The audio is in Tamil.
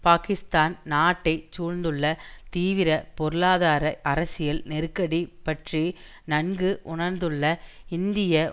பாக்கிஸ்தான் நாட்டை சூழ்ந்துள்ள தீவிர பொருளாதார அரசியல் நெருக்கடி பற்றி நன்கு உணர்ந்துள்ள இந்திய